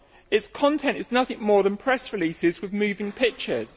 Its content is nothing more than press releases with moving pictures.